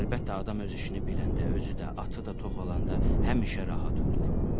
Əlbəttə, adam öz işini biləndə, özü də, atı da tox olanda həmişə rahat olur.